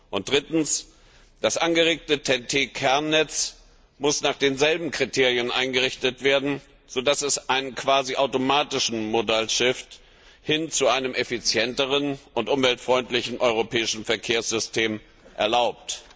Und drittens Das angeregte TEN Kernnetz muss nach denselben Kriterien eingerichtet werden, so dass es einen quasi automatischen Modal Shift hin zu einem effizienteren und umweltfreundlichen europäischen Verkehrssystem erlaubt.